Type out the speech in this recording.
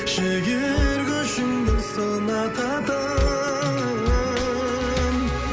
жігер көшіңді сынататын